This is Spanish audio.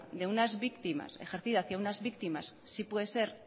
ejercida hacia unas víctimas sí puede ser